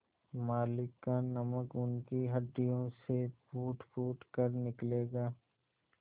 मालिक का नमक उनकी हड्डियों से फूटफूट कर निकलेगा